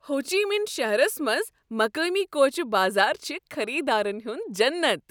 ہو چی مِن شہرس منز مقٲمی کوچہ بازار چھ خریدارن ہُند جنت ۔